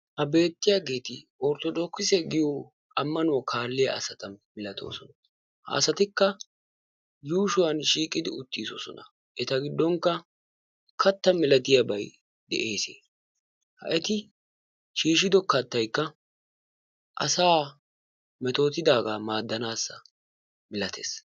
Ha beettiyaageeti orthodookise giyoo ammanuwaa kaalliyaa asata milatoosona. ha asatika yuushuwan shiiqidi uttidosona. eta giddonkka katta milatiyaabay de'eesi. ha eti shiishshido kattaykka asaa metootidaagaa maadanaassa milatees.